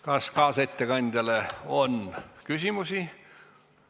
Kas kaasettekandjale on küsimusi?